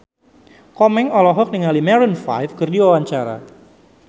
Komeng olohok ningali Maroon 5 keur diwawancara